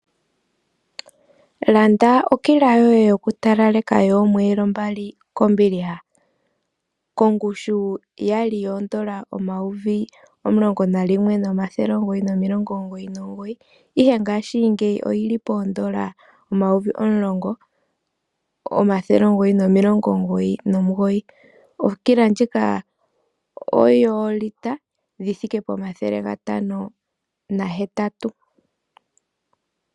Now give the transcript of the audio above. Landa okila yoye yokutalaleka yoomweelo mbali kombiliha, kongushu ya li yooN$ 11 999, ihe ngaashingeyi oyi li pooN$ 10 999. Okila ndjika oyoolitela omathele gatano nahetatu.